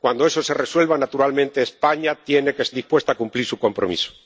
Cuando eso se resuelva, naturalmente, España tiene que estar dispuesta a cumplir su compromiso.